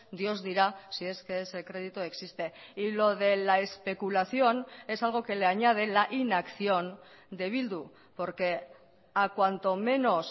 dios dirá si es que ese crédito existe y lo de la especulación es algo que le añade la inacción de bildu porque a cuanto menos